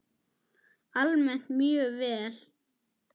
Almennt mjög vel.